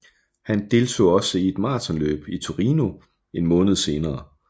Han deltog også i et maratonløb i Torino en måned senere